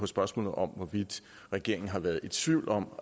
spørgsmålet om hvorvidt regeringen har været i tvivl om